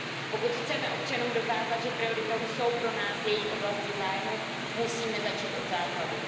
Pokud chceme občanům dokázat, že prioritou jsou pro nás jejich oblasti zájmu, musíme začít od základu.